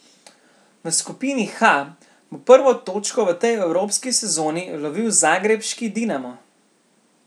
V skupini H bo prvo točko v tej evropski sezoni lovil zagrebški Dinamo.